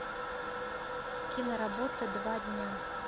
киноработа два дня